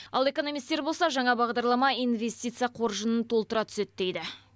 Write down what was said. ал экономистер болса жаңа бағдарлама инвестиция қоржынын толтыра түседі дейді